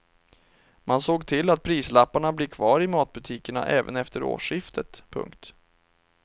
Man såg till att prislapparna blir kvar i matbutikerna även efter årsskiftet. punkt